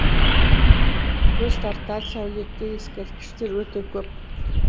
көз тартар сәулетті ескерткіштер өте көп